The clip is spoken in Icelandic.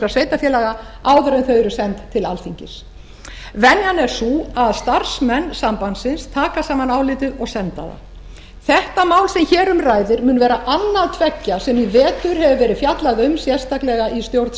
sveitarfélaga áður en þau eru send til alþingis venjan er sú að starfsmenn sambandsins taka saman álitið og senda það þetta mál sem hér um ræðir mun vera annað tveggja sem í vetur hefur verið fjallað um sérstaklega í stjórn